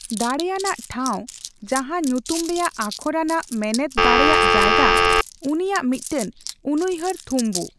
ᱫᱟᱲᱮᱭᱟᱱᱟᱜ ᱴᱷᱟᱣ ᱡᱟᱦᱟᱸ ᱧᱩᱛᱩᱢ ᱨᱮᱭᱟᱜ ᱟᱠᱷᱚᱨ ᱟᱱᱟᱜ ᱢᱮᱱᱮᱫ ᱫᱟᱲᱮᱭᱟᱜ ᱡᱟᱭᱜᱟ, ᱩᱱᱤᱭᱟᱜ ᱢᱤᱫᱴᱟᱝ ᱩᱱᱩᱭᱦᱟᱹᱨ ᱛᱷᱩᱢᱵᱩ ᱾